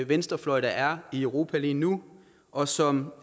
venstrefløj der er i europa lige nu og som